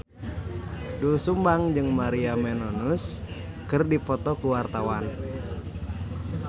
Doel Sumbang jeung Maria Menounos keur dipoto ku wartawan